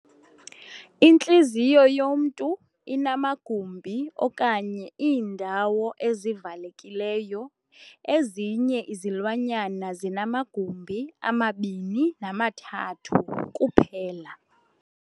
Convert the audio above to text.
Intliziyo yomntu inamagumbi okanye iindawo ezivalekileyo. ezinye izilwanyana zinamagumbi amabini namathathu kuphela.